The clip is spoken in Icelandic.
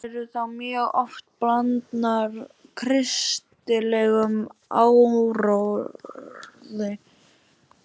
Þær eru þá mjög oft blandnar kristilegum áróðri.